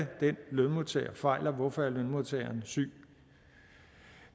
lønmodtager fejler og hvorfor lønmodtageren syg